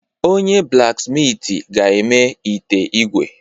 Onye-blaksmitị ga-eme ite ígwè.